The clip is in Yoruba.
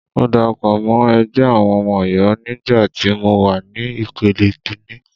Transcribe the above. Mo darapọ̀ mọ́ ẹgbẹ́ àwọn ọmọ Ọ̀yọ́ nígbà tí mọ wà ní ìpele kíní.